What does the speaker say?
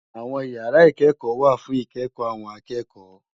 Awòn ìyàrá ikèékò wá fún ikèékò áwòn àkèékò